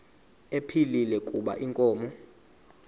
ephilile kuba inkomo